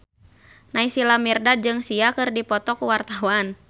Naysila Mirdad jeung Sia keur dipoto ku wartawan